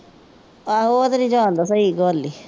ਆਹੋ ਉਹ ਤਾਂ ਨਹੀ ਜਾਣਦਾ ਸਹੀ ਗੱਲ ਏ।